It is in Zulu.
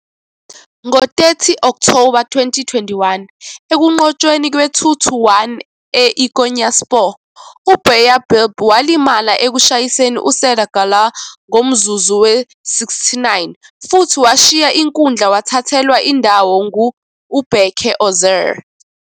Ngo-30 October 2021, ekunqotshweni kwe-2-1 e-IKonyaspor, uBayдыр walimala ekushayisaneni USerdar Gürler ngomzuzu we-69 futhi washiya inkundla, wathathelwa indawo ngUBerke Özer.